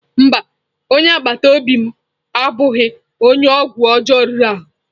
Mba, onye agbata obi m abụghị onye ọgwụ ọjọọ riri ahụ?